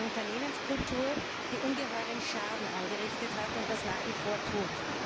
einer Unternehmenskultur, die ungeheuren Schaden angerichtet hat und das nach wie vor tut.